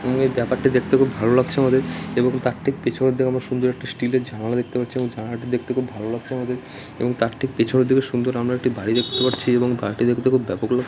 এই ব্যাপারেটি দেখতে খুব ভাল লাগছে আমাদের তার ঠিক পিছনের দিকে একটা সুন্দর স্টিল -এর জানালা দেখতে পাচ্ছি আমরা সেই জানাল টা দেখতে খুব ভালো লাগছে আমাদের | এবং তার ঠিক পিছনের দিকে সুন্দর আমরা একটা বাড়ি দেখতে পাচ্ছি সেই বাড়িটা দেখতে ব্যাপক লাগছে |